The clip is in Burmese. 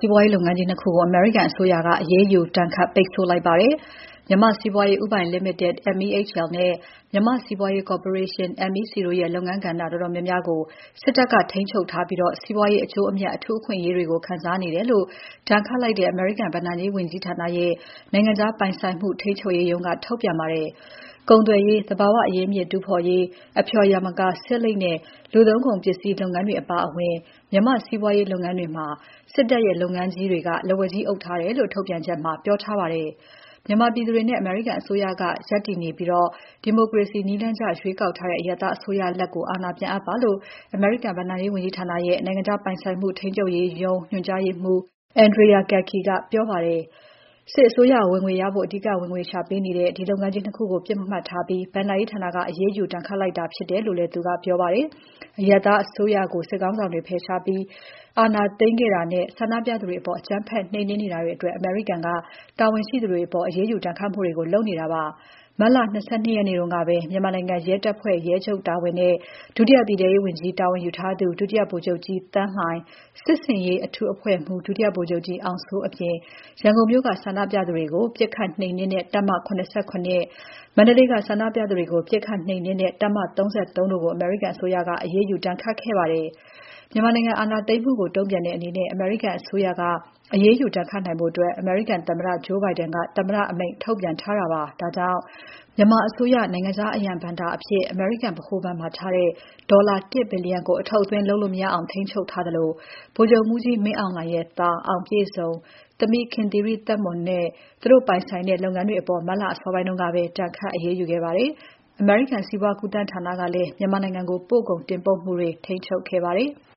ီးပွားရေးလုပ်ငန်းကြီး နှစ် ခုကို အမေရိကန်အစိုးရက အရေးယူ ဒဏ်ခတ် ပိတ်ဆို့လိုက်ပါတယ်။ မြန်မာ့စီးပွားရေး ဦးပိုင်လီမိတက် (MEHL) နဲ့ မြန်မာ့ စီးပွားရေး ကော်ပိုရေးရှင်း (MEC) တို့ရဲ့ လုပ်ငန်းကဏ္ဍ တော်တော်များများကို စစ်တပ်က ထိန်းချုပ်ထားပြီး၊ စီးပွားရေး အကျိုးအမြတ် အထူးအခွင့်အရေးတွေကို ခံစားနေတယ်လို့ ဒဏ်ခတ်လိုက်တဲ့ အမေရိကန်ဘဏ္ဍာရေးဝန်ကြီဌာနရဲ့ နိုင်ငံခြားပိုင်ဆိုင်မှု ထိန်းချုပ်ရေးရုံးက ထုတ်ပြန်ပါတယ်။ ကုန်သွယ်ရေး၊ သဘာဝအရင်းအမြစ်တူးဖော်ရေး၊ အဖျော်ယာမကာ၊ ဆေးလိပ်နဲ့ လူသုံးကုန်ပစ္စည်းတို့နဲ့ဆိုင်တဲ့ စီးပွားရေးလုပ်ငန်းတွေမှာ စစ်တပ်ရဲ့ လုပ်ငန်းကြီးတွေက လက်ဝါးကြီးအုပ်ထားတယ်လို့ ထုတ်ပြန်ချက်မှာ ပြောထားပါတယ်။ မြန်မာပြည်သူတွေနဲ့ အမေရိကန်အစိုးရက ရပ်တယ်နေပြီး၊ ဒီမိုကရေစီနည်းကျရွေးကောက်ထားတဲ့ အရပ်သားအစိုးရလက် အာဏာပြန်အပ်ပါလို့ အမေရိကန်ဘဏ္ဍာရေးဝန်ကြီဌာနရဲ့ နိုင်ငံခြားပိုင်ဆိုင်မှု ထိန်းချုပ်ရေးရုံး ညွှန်ကြားရေးမှူး Andrea M. Gacki ကပြောပါတယ်။ စစ်အစိုးရ ဝင်ငွေရဖို့ အဓိက ဝင်ငွေရှာပေးနေတဲ့ ဒီလုပ်ငန်းကြီး ၂ ခုကို ပစ်မှတ်ထားပြီး ဘဏ္ဍာရေးဌာက အရေးယူ ဒဏ်ခတ်လိုက်တာဖြစ်တယ်လို့သူကပြောပါတယ်။ အရပ်သားအစိုးရကို စစ်ခေါင်းဆောင်တွေက ဖယ်ရှားပြီး အာဏာသိမ်းခဲ့တာနဲ့၊ ဆန္ဒပြသူတွေအပေါ် အကြမ်းဖက် နှိမ်နင်းနေတာအတွက် အမေရိကန်က တာဝန်ရှိသူတွေအပေါ် အရေးယူဒဏ်ခတ်မှုတွေ လုပ်နေတာပါ။ မတ်လ ၂၂ ရက်နေ့ကပဲ မြန်မာနိုင်ငံရဲတပ်ဖွဲ့ ရဲချုပ်တာဝန်နဲ့ ဒုတိယပြည်ထဲရေးဝန်ကြီး တာဝန်ယူထားသူ ဒုတိယဗိုလ်ချုပ်ကြီး သန်းလှိုင်၊ စစ်ဆင်ရေးအထူးအဖွဲ့မှူး ဒုတိယဗိုလ်ချုပ်ကြီး အောင်စိုးအပြင်၊ ရန်ကုန်မြို့က ဆန္ဒပြသူတွေကို ပစ်ခတ် နှိမ်နှင်းတဲ့ တပ်မ ၇၇၊ မန္တလေးက ဆန္ဒပြသူတွေကို ပစ်ခတ်နှိမ်နင်းတဲ့ တပ်မ ၃၃ တို့ကို အမေရိကန်အစိုးရက အရေးယူဒဏ်ခတ်ခဲ့ပါတယ်။ မြန်မာနိုင်ငံ အာဏာသိမ်းမှုကို တုံ့ပြန်တဲ့အနေနဲ့ အမေရိကန်အစိုးရက အရေးယူဒဏ်ခတ်နိုင်ဖို့ အမေရိကန်သမ္မတ Joe Biden က သမ္မတအမိန့်ထုတ်ပြန်ထားတာပါ။ ဒါကြောင့် မြန်မာအစိုးရ နိုင်ငံခြားအရန်ဘဏ္ဍာအဖြစ် အမေရိကန် ဗဟိုဘဏ်မှာထားတဲ့ ဒေါ်လာ ၁ ဘီလီယံကို အထုတ်အသွင်း လုပ်လို့ မရအောင် ထိန်းချုပ်ထားသလို ဗိုလ်ချုပ်မှူးကြီးမင်းအောင်လှိုင်ရဲ့ သား အောင်ပြည့်စုံ၊ သမီး ခင်သီရိသက်မွန်နဲ့ သူတို့ပိုင်ဆိုင်မှုတွေ လုပ်ငန်းတွေအပေါ် မတ်လ အစောပိုင်းကပဲ ဒဏ်ခတ် အရေးယူခဲ့ပါတယ်။ အမေရိကန် စီးပွားကူးသန်းဌာနကလည်း မြန်မာနိုင်ငံကို ပို့ကုန်တင်ပို့မှုတွေ ထိန်းချုပ်ခဲ့ပါတယ်။